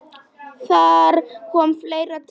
Þar kom fleira til.